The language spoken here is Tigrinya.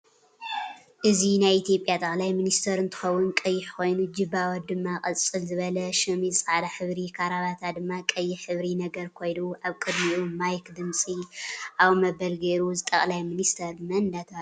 እዚ ናይ ኢትዮጵያ ጠቅላይ ምንስተር እንትከውን ቀይሕ ኮይኑ ጅባ ድማ ቁፅል ዝበለ ሸምዝ ፃዕዳ ሕብሪ ካራበታ ድማ ቀይሕ ሕብሪ ነገር ኮይኑ ኣብ ቅድምኢ ማይክ ድምፂ ኣው መበል ገይሩ እዚ ጠቅላይ ምንስተር መን እዳተበሃለ ይፅዋዕ ?